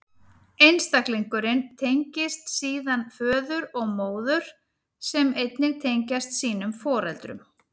Einstaklingurinn tengist síðan föður og móður, sem einnig tengjast sínum foreldrum.